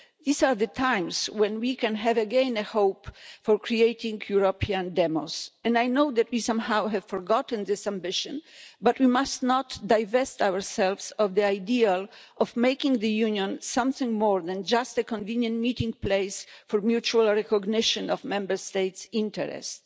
These are the times when we can again have hope for creating a European demos. And I know that we have somehow forgotten this ambition but we must not divest ourselves of the ideal of making the Union something more than just a convenient meeting place for mutual recognition of Member States' interests.